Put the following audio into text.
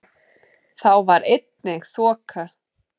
Þá var einnig þoka